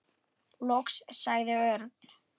Loks sagði Örn.